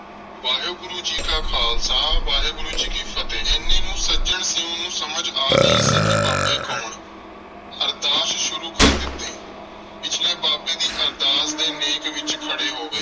ਵਾਹਿਗੁਰੂ ਜੀ ਕਾ ਖਾਲਸਾ, ਵਾਹਿਗੁਰੂ ਜੀ ਕੀ ਫ਼ਤਿਹ। ਐਨੇ ਨੂੰ ਸੱਜਣ ਸਿੰਘ ਨੂੰ ਸਮਝ ਆ ਗਈ ਸੀ ਕਿ ਬਾਬੇ ਕੌਣ? ਅਰਦਾਸ ਸ਼ੁਰੂ ਕਰ ਦਿਤੀ ਪਿਛਲੇ ਬਾਬੇ ਦੀ ਅਰਦਾਸ ਦੇ ਨੇਕ ਵਿਚ ਖੜੇ ਹੋ ਗਏ।